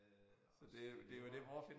Øh så det også nemmere